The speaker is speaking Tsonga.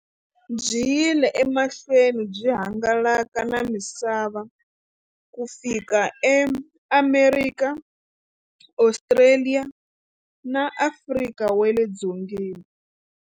Byi yile emahlweni byi hangalaka na misava ku fika eAmerika, Ostraliya na Afrika wale dzongeni.